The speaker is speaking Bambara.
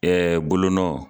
Ɛɛ bolonɔ